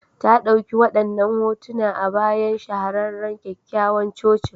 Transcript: Ta ɗauki wadannan hotuna a bayan shahararren kyakkyawan cocin.